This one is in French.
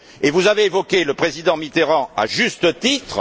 Vous avez évoqué le Président Mitterrand, à juste titre.